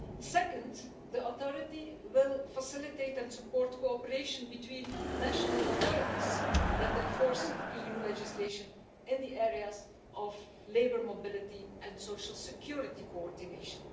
Second, the authority will facilitate and support cooperation between national authorities that enforce EU legislation in the areas of labour mobility and social security coordination.